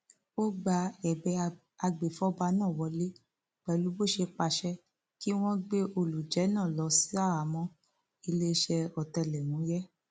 ó gba ẹbẹ agbèfọba náà wọlẹ pẹlú bó ṣe pàṣẹ pé kí wọn gbé olùjẹ náà lọ ṣaháàmọ iléeṣẹ ọtẹlẹmúyẹ